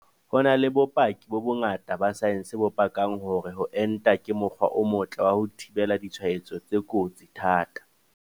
Ho na le bopaki bo bongata ba saense bo pakang hore ho enta ke mokgwa o motle wa ho thibela ditshwaetso tse kotsi thata.